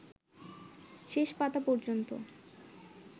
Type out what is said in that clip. শেষ পাতা পর্যন্ত